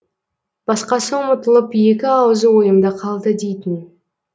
басқасы ұмытылып екі аузы ойымда қалды дейтін